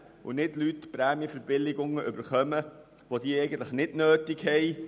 Es sollen nicht Leute Prämienverbilligungen erhalten, die diese eigentlich nicht nötig haben.